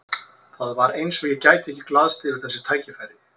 Það var eins og ég gæti ekki glaðst yfir þessu tækifæri.